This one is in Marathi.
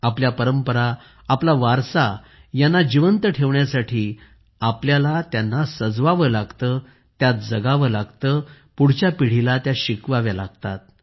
आपल्या परंपरा आपला वारसा यांना जिवंत ठेवण्यासाठी आपल्याला त्यांना सजवावे लागते त्यात जगावे लागते पुढच्या पिढीला त्या शिकवाव्या लागतात